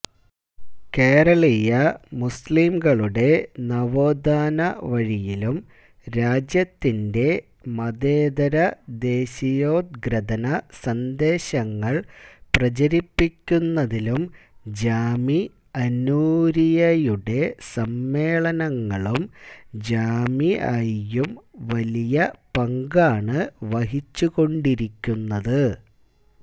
കേരളീയ മുസ്ലിംകളുടെ നവോത്ഥാന വഴിയിലും രാജ്യത്തിന്റെ മതേതരദേശീയോത്ഗ്രഥന സന്ദേശങ്ങള് പ്രചരിപ്പിക്കുന്നതിലും ജാമിഅഃ നൂരിയ്യഃയുടെ സമ്മേളനങ്ങളും ജാമിഅഃയും വലിയ പങ്കാണ് വഹിച്ചുകൊണ്ടിരിക്കുന്നത്